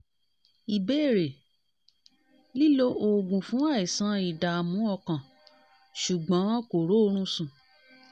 ìbéèrè: lílo oògùn fún àìsàn ìdààmú àìsàn ìdààmú ọkàn ṣùgbọ́n kò rórun sùn